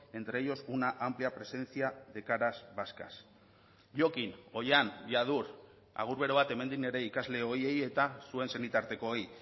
entre ellos una amplia presencia de caras vascas jokin oihan jadur agur bero bat hemendik nire ikasle ohiei eta zuen senitartekoei